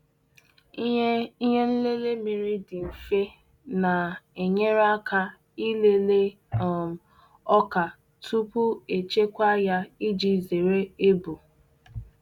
Ihe Ihe nlele mmiri dị mfe na-enyere aka ịlele um ọka tupu echekwa ya iji zere ebu.